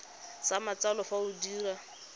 sa matsalo fa o dira